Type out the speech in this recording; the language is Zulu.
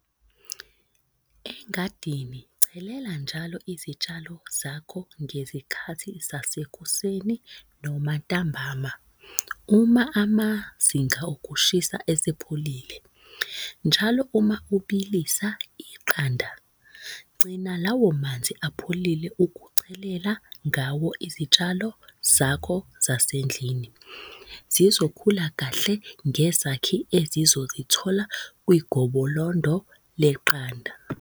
Engadini chelela njalo izitshalo zakho ngezikhathi zasekuseni noma ntambama, uma amazinga okushisa esepholile. Njalo uma ubilisa iqanda, gcina lawo manzi apholile ukuchelela ngawo izitshalo zakho zasendlini. Zizokhula kahle ngezakhi ezizozithola kwigobolondo leqanda.